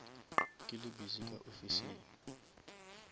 ke le busy ka ofising